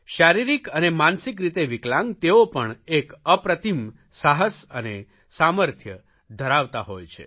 શારીરિક અને માનસિક રીતે વિકલાંગ તેઓ પણ એક અપ્રતિમ સાહસ અને સામર્થ્ય ધરાવતા હોય છે